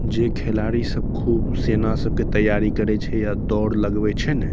जे खिलाड़ी सब खूब सेना सब के तैयारी करे छै या दौड़ लगवे छै ने --